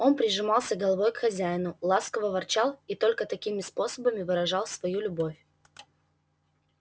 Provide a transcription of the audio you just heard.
он прижимался головой к хозяину ласково ворчал и только такими способами выражал свою любовь